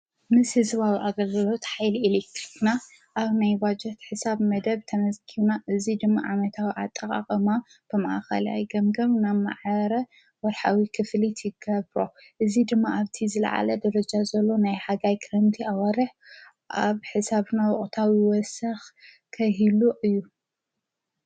ምስ ሕዝዋዊ ኣገግሎት ዓኃሊ ኢልክትና ኣብ ናይ ባጀት ሕሳብ መደብ ተመስጊና እዙይ ድማ ዓመታዊ ዓጠቓቐማ ብምኣኸልኣይ ገምገኑ ናብ መዓረ ወርኃዊ ክፍሊት ይገብሮ እዝ ድማ ኣብቲ ዘለዓለ ደረጃ ዘሎ ናይ ሓጋይ ክረንቲ ኣዋርሕ ኣብ ሕሳብ ናዉቕታዊ ወስኽ ከሂሉ እዩ።